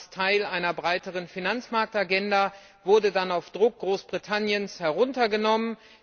Das war erst Teil einer breiteren Finanzmarktagenda, wurde dann auf Druck Großbritanniens heruntergenommen.